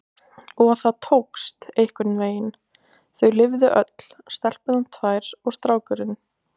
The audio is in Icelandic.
Og það tókst, einhvernveginn, þau lifðu öll, stelpurnar tvær og strákurinn